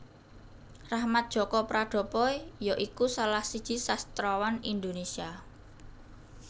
Rachmat Djoko Pradopo ya iku salah siji sastrawan Indonesia